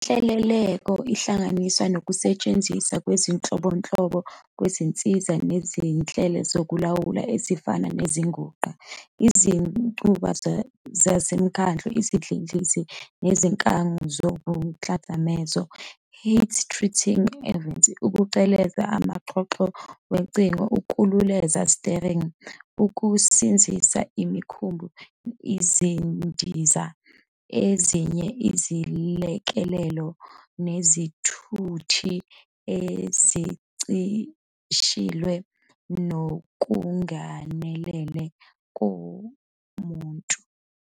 Inhleleleko ihlanganisa nokusetshenziswa kwezinhlobonhlobo zezinsiza nezinhlelo zokulawula ezifana nezinguxa, izinqubo zasemkhando, izidlidlizi, nezinkangu zomchadamezo "heat treating ovens", ukuqhebeza amaxhoxho wocingo, ukululeza "steering", ukuzinzisa imikhumbi, izindiza, nezinye iziLekeleli nezithuthi ezincishiswe ukungenelela komuntu.